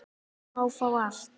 Má fá allt, eða ekkert.